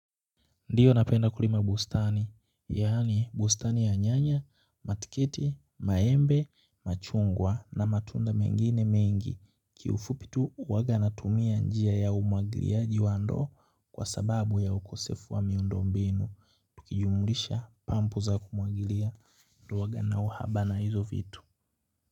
Ndiyo napenda kulima bustani, yaani bustani ya nyanya, matikiti, maembe, machungwa na matunda mengine mengi. Kiufupi tu huwaga natumia njia ya umwagiliaji wa ndoo kwa sababu ya ukosefu wa miundombinu. Tukijumulisha pampu za kumwagilia. Ndiyo huwaga na uhaba na hizo vitu.